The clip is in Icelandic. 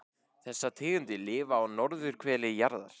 Þessar tegundir lifa á norðurhveli jarðar.